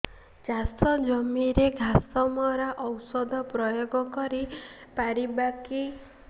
ଚାଷ ଜମିରେ ଘାସ ମରା ଔଷଧ ପ୍ରୟୋଗ କରି ପାରିବା କି